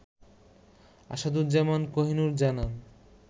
আসাদুজ্জামান কোহিনুর জানান